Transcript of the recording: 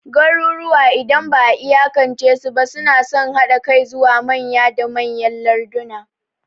Garuruwa, idan ba'a iyakance su ba, suna son haɗa kai zuwa manya da manyan larduna.